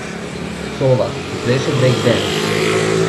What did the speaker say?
Sova, ki pleše brejkdens.